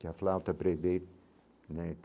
Que a flauta prevê, né?